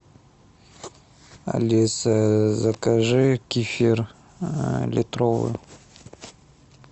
алиса закажи кефир литровый